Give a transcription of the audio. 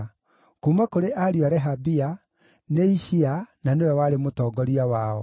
Kuuma kũrĩ ariũ a Rehabia: nĩ Ishia na nĩwe warĩ mũtongoria wao.